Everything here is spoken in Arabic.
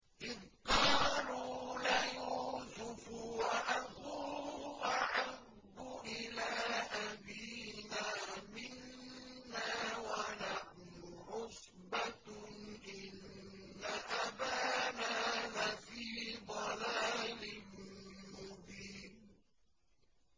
إِذْ قَالُوا لَيُوسُفُ وَأَخُوهُ أَحَبُّ إِلَىٰ أَبِينَا مِنَّا وَنَحْنُ عُصْبَةٌ إِنَّ أَبَانَا لَفِي ضَلَالٍ مُّبِينٍ